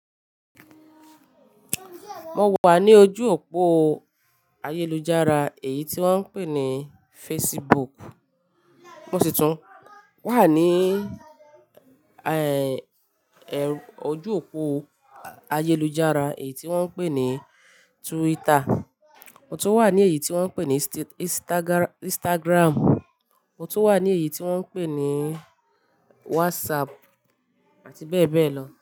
Mo wà ní ojú òpó ayélujára èyí tí wón ń pè ní Facebook, mo sì tún wà ní ẹ, ẹ, ojú òpó ayélujára èyí tí wón ń pè ní Twitter. Mo tún wà ní èyí tí wón ń pè ní Instagram. Mo tún wà ní èyí tí wón ń pè ní WhatsApp àti bẹ́ẹ̀ bẹ́ẹ̀ lọ.